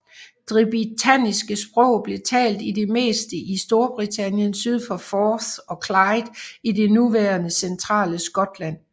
De britanniske sprog blev talt i det meste i Storbritannien syd for Forth og Clyde i det nuværende centrale Skotland